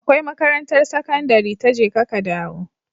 Akwai makarantar sakandari ta jeka ka dawo